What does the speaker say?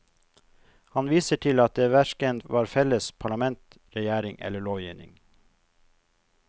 Han viser til at det hverken var felles parlament, regjering eller lovgivning.